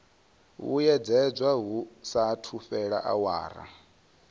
vhuyedzedzwa hu saathu fhela awara